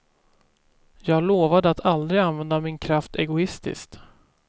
Jag lovade att aldrig använda min kraft egoistiskt.